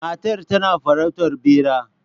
Matar tana farautar bera